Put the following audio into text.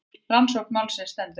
Rannsókn málsins stendur enn.